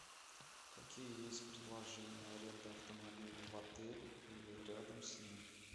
какие есть предложения аренды автомобиля в отеле или рядом с ним